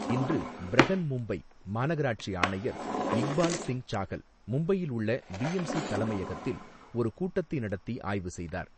இன்று, பிரஹன்மும்பை மாநகராட்சி ஆணையர் இக்பால் சிங் சாஹல் மும்பையில் உள்ள பிஎம்சி தலைமையகத்தில் ஒரு கூட்டத்தை நடத்தி ஆய்வு செய்தார்.